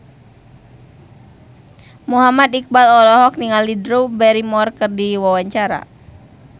Muhammad Iqbal olohok ningali Drew Barrymore keur diwawancara